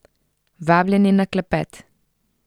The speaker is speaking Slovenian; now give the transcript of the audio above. Vabljeni na klepet!